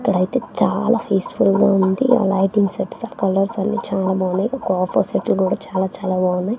ఇక్కడ అయితే చాలా పీస్ ఫుల్ గా ఉంది. ఆ లైటింగ్ సెట్స్ ఆ కలర్స్ అన్ని చాలా బాగున్నాయి కాపర్ సోఫా సెట్ లు కూడా చాలా-చాలా బాగున్నాయి.